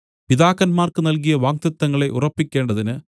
പിതാക്കന്മാർക്കു നൽകിയ വാഗ്ദത്തങ്ങളെ ഉറപ്പിക്കേണ്ടതിന്